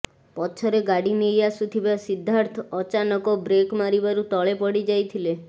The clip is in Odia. ପଛରେ ଗାଡ଼ି ନେଇ ଆସୁଥିବା ସିଦ୍ଧାର୍ଥ ଅଚାନକ ବ୍ରେକ୍ ମାରିବାରୁ ତଳେ ପଡ଼ି ଯାଇଥିଲେ